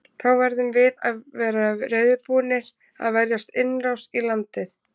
Þá verðum við að vera reiðubúnir að verjast innrás í landið.